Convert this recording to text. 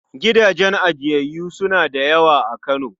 Gidajen ajiyayyu suna da yawa a Kano.